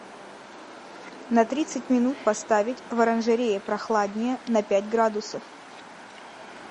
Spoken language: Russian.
на тридцать минут поставить в оранжерее прохладнее на пять градусов